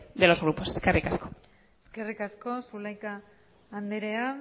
de los grupos eskerrik asko eskerrik asko zulaika andrea